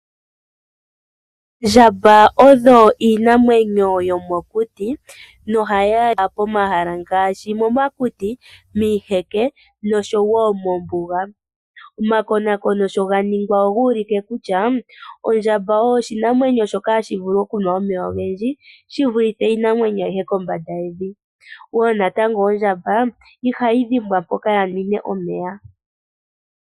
Oondjamba odho iinamwenyo yomokuti nohayi adhika pomahala ngaashi momakuti, miiheke nosho wo mombuga. Omakonakono sha ga ningwa oga ulike kutya ondjamba oyo oshinamwenyo shoka hashi vulu okunwa omeya ogendji shi vulithe iinamwenyo ayihe kombanda yevi. Ondjamba wo inatango ihayi dhimbwa mpoka ya nwine omeya.